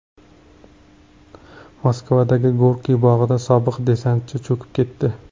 Moskvadagi Gorkiy bog‘ida sobiq desantchi cho‘kib ketdi.